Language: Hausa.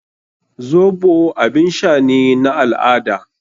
Zoɓo abin sha ne na al-ada.